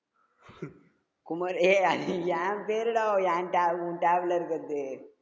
குமாரே~ஏ அது என் பேருடா என் ta~ உன் tab ல இருக்குறது